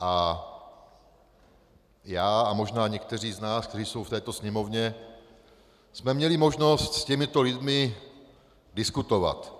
A já a možná někteří z nás, kteří jsou v této Sněmovně, jsme měli možnost s těmito lidmi diskutovat.